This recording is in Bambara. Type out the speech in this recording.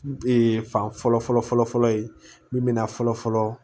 fan fɔlɔ fɔlɔ fɔlɔ ye min bɛ na fɔlɔ fɔlɔ